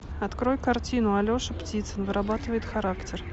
открой картину алеша птицын вырабатывает характер